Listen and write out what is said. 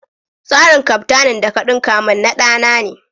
Trarin kaftanin da ka ɗunka min na da ne.